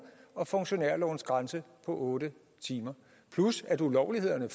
og funktionærlovens grænse på otte timer plus at ulovlighederne